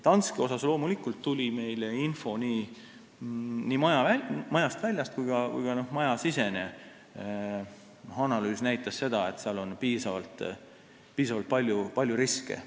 Danske kohta tuli meile info majast väljast, aga ka majasisene analüüs näitas seda, et seal on piisavalt palju riske.